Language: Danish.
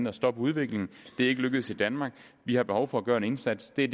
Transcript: at stoppe udviklingen det er ikke lykkedes i danmark vi har behov for at gøre en indsats det